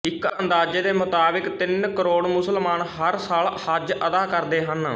ਇੱਕ ਅੰਦਾਜ਼ੇ ਦੇ ਮੁਤਾਬਿਕ ਤਿੰਨ ਕਰੋੜ ਮੁਸਲਮਾਨ ਹਰ ਸਾਲ ਹੱਜ ਅਦਾ ਕਰਦੇ ਹਨ